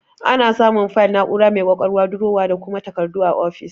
Ana samun fayil, na'ura mai ƙwaƙwalwa, durowa, da kuma takardu a ofis.